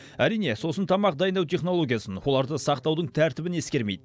әрине сосын тамақ дайындау технологиясын оларды сақтаудың тәртібін ескермейді